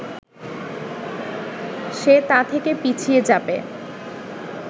সে তা থেকে পিছিয়ে যাবে